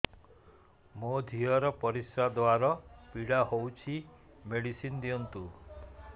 ମୋ ଝିଅ ର ପରିସ୍ରା ଦ୍ଵାର ପୀଡା ହଉଚି ମେଡିସିନ ଦିଅନ୍ତୁ